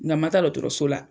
Ŋa ma taa dɔɔtɔrɔso la